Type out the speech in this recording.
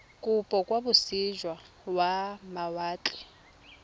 kopo kwa moseja wa mawatle